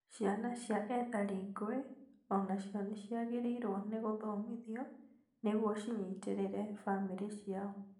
Ciana cia ethari ngũĩ onacio nĩciagĩrĩirwo nĩ gũthomithio nĩguo cinyitĩrĩre bamĩrĩ ciao